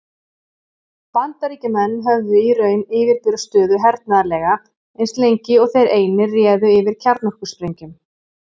Bandaríkjamenn höfðu í raun yfirburðastöðu hernaðarlega, eins lengi og þeir einir réðu yfir kjarnorkusprengjum.